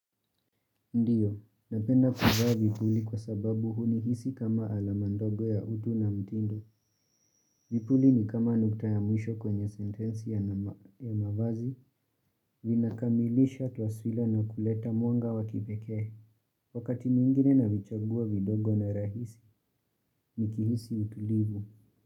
Ndiyo, napenda kuvaa vipuli kwa sababu hunihisi kama alama ndogo ya utu na mtindo. Vipuli ni kama nukta ya mwisho kwenye sentensi ya mava ya mavazi, vinakamilisha taswila na kuleta mwanga wa kipekee. Wakati mwingine navichagua vidogo na rahisi, nikihisi utulivu.